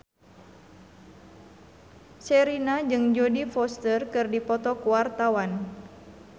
Sherina jeung Jodie Foster keur dipoto ku wartawan